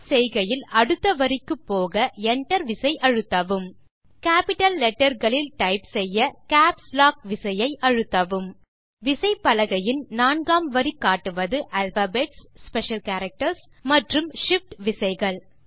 type செய்கையில் அடுத்த வரிக்கு போக Enter விசை அழுத்தவும் கேப்பிட்டல் letterகளில் டைப் செய்ய கேப்ஸ் லாக் விசையை அழுத்தவும் விசைப்பலகையின் நான்காம் வரி காட்டுவது ஆல்பாபெட்ஸ் ஸ்பெஷல் கேரக்டர்ஸ் மற்றும் shift விசைகள்